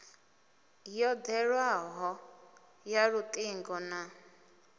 yo ḓewleaho ya luṱingo na